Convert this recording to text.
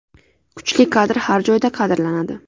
Kuchli kadr har joyda qadrlanadi.